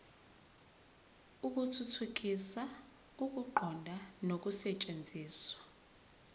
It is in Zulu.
ukuthuthukisa ukuqonda nokusetshenziswa